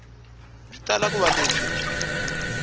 byi tala ku va lebyi